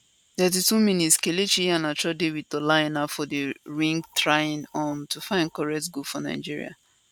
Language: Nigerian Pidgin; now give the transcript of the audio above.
32mins kelechi iheanacho dey wit ola aina for di wing trying um to find correct goal for nigeria